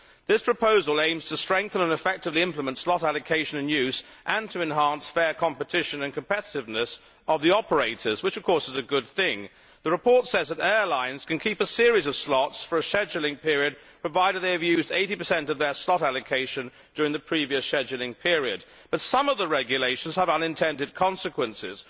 This proposal aims to strengthen and effectively implement slot allocation and use and to enhance fair competition and competitiveness of the operators, which of course is a good thing. The report says that airlines can keep a series of slots for a scheduling period, provided they have used 80 of their slot allocation during the previous scheduling period, but some of the regulations have unintended consequences.